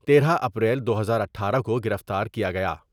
تیرہ اپریل دو ہزاار اٹھارہ کوگرفتار کیا گیا ۔